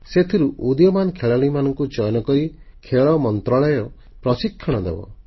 ସେଥିରୁ ଉଦୀୟମାନ ଖେଳାଳିମାନଙ୍କୁ ଚୟନ କରି ଖେଳ ମନ୍ତ୍ରଣାଳୟ ପ୍ରଶିକ୍ଷଣ ଦେବ